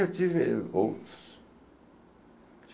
Eu tive outros.